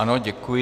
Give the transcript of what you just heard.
Ano, děkuji.